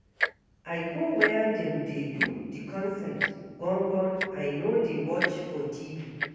I go where dem dey do di concert gon-gon, I no dey watch for TV.